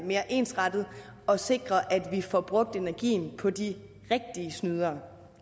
mere ensrettet og sikre at vi får brugt energien på de rigtige snydere